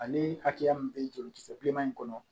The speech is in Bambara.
Ani hakɛya min bɛ jolikisɛ bilenman in kɔnɔ